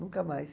Nunca mais.